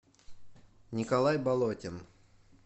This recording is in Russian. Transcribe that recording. николай болотин